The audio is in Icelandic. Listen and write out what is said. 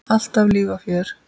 Alltaf líf og fjör.